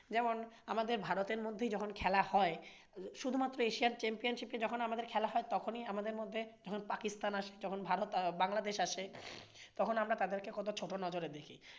যেমন আমাদের ভারতের মধ্যেই যখন খেলা হয় শুধুমাত্র এশিয়ার championship এ যখন আমাদের খেলা হয় তখনি আমাদের মধ্যে ধরুন পাকিস্তান আসে, বাংলাদেশ আসে তখন আমরা তাদেরকে কতো ছোট নজরে দেখি।